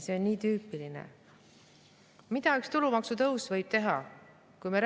Mida üks tulumaksu tõus võib teha?